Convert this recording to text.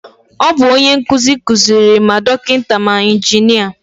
Ọ bu onye nkụzi kuziri ma dọkịta ma injinia